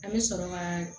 An bɛ sɔrɔ ka